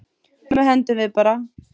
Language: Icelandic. Sumu hendum við bara.